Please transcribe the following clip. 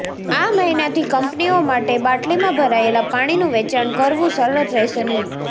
આ મહિનાથી કંપનીઓ માટે બાટલીમાં ભરાયેલા પાણીનું વેચાણ કરવું સરળ રહેશે નહીં